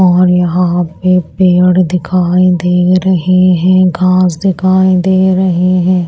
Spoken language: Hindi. और यहां पे पेड़ दिखाई दे रहे हैं घास दिखाई दे रहे हैं।